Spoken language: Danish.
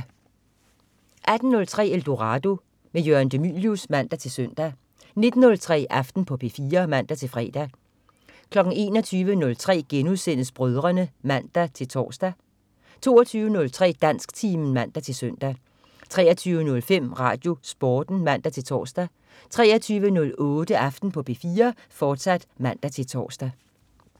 18.03 Eldorado. Jørgen de Mylius (man-søn) 19.03 Aften på P4 (man-fre) 21.03 Brødrene* (man-tors) 22.03 Dansktimen (man-søn) 23.05 RadioSporten (man-tors) 23.08 Aften på P4, fortsat (man-tors)